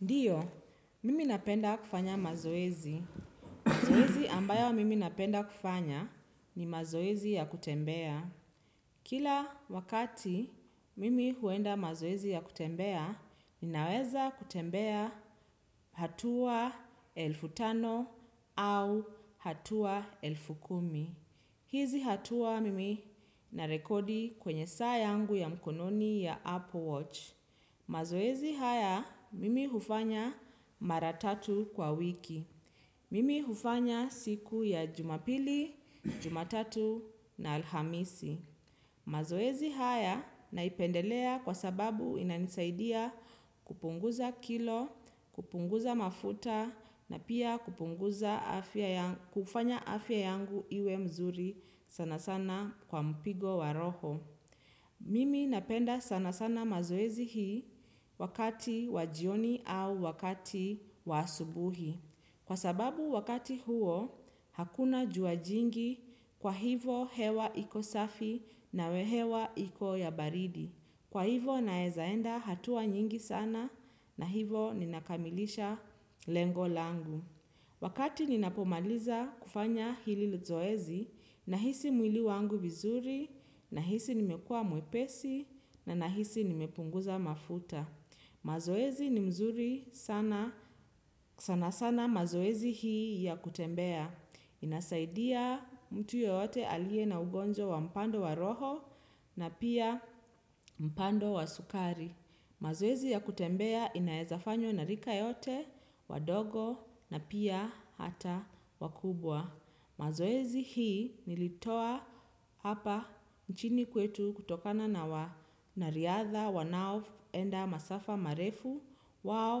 Ndiyo, mimi napenda kufanya mazoezi. Mazoezi ambayo mimi napenda kufanya ni mazoezi ya kutembea. Kila wakati mimi huenda mazoezi ya kutembea, ninaweza kutembea hatua elfu tano au hatua elfu kumi. Hizi hatua mimi na rekodi kwenye sayangu ya mkononi ya Apple Watch. Mazoezi haya mimi hufanya maratatu kwa wiki. Mimi hufanya siku ya jumapili, jumatatu na alhamisi. Mazoezi haya naipendelea kwa sababu inanisaidia kupunguza kilo, kupunguza mafuta na pia kupunguza kufanya afya yangu iwe mzuri sana sana kwa mpigo wa roho. Mimi napenda sana sana mazoezi hii wakati wajioni au wakati wasubuhi. Kwa sababu wakati huo hakuna juajingi kwa hivo hewa iko safi na wehewa iko ya baridi. Kwa hivo naezaenda hatua nyingi sana na hivo ninakamilisha lengolangu. Wakati nina pomaliza kufanya hili zoezi, nahisi mwili wangu vizuri, nahisi nimekua mwepesi, nahisi nimepunguza mafuta. Mazoezi ni mzuri sana sana mazoezi hii ya kutembea. Inasaidia mtu yeyote alie na ugonjw wa mpando wa roho na pia mpando wa sukari. Mazowezi ya kutembea inaezafanyo narika yote, wadogo na pia hata wakubwa. Mazoezi hii nilitoa hapa nchini kwetu kutokana na wa nariadha wanao enda masafa marefu wao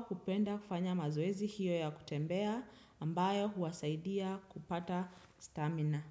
hupenda kufanya mazowezi hiyo ya kutembea ambayo huwasaidia kupata stamina.